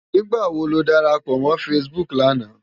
Nigbá wó ló dárápò mò fãsibúk làná?